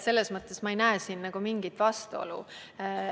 Selles mõttes ei näe ma siin mingit vastuolu.